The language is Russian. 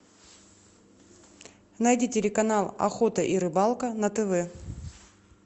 найди телеканал охота и рыбалка на тв